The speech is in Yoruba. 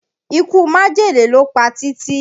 Ikú májèlé ló pa Títí